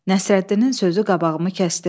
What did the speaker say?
Nəsrəddinin sözü qabağımı kəsdi.